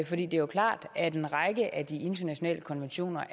for det er jo klart at en række af de internationale konventioner